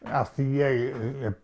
af því ég